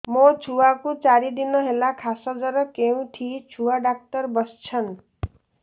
ମୋ ଛୁଆ କୁ ଚାରି ଦିନ ହେଲା ଖାସ ଜର କେଉଁଠି ଛୁଆ ଡାକ୍ତର ଵସ୍ଛନ୍